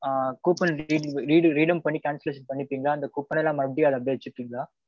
ஆ coupon redeem redeem பண்ணி cancellation பண்ணீருக்கீங்களா? அந்த coupon எல்லாம் மறுபடி அத அப்பிடியே வெச்சுருக்கீங்களா?